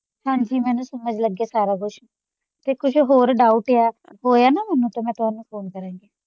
ਹਾਂਜੀ ਮੈਨੂੰ ਸਮਝ ਲੱਗ ਗਿਆ ਸਾਰਾ ਕੁਝ ਤੇ ਕੁਝ ਹੋਰ ਡਾਊਟ ਹੋਇਆ ਨਾ ਮੈਨੂੰ ਤੇ ਮੈਂ ਤੁਹਾਨੂੰ ਫ਼ੋਨ ਕਰਾੰਗੀ।